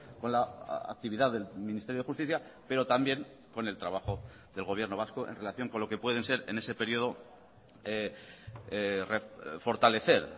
con la actividad del ministerio de justicia pero también con el trabajo del gobierno vasco en relación con lo que pueden ser en ese periodo fortalecer